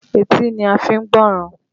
Etí ni a fi ń gbọ́ràn